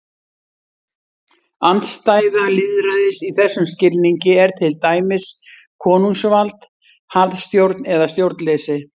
Andstæða lýðræðis í þessum skilningi er til dæmis konungsvald, harðstjórn eða stjórnleysi.